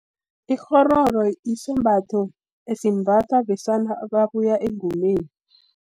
Ikghororo, isembatho esimbathwa besana ababuya engomeni.